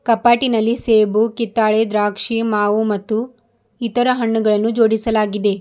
ಕಪಾಟಿನಲ್ಲಿ ಸೇಬು ಕಿತ್ತಾಳೆ ದ್ರಾಕ್ಷಿ ಮಾವು ಮತ್ತು ಇತರ ಹಣ್ಣುಗಳನ್ನು ಜೋಡಿಸಲಾಗಿದೆ.